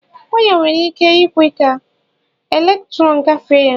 waya nwere ike ikwe ka elektrọn gafee ya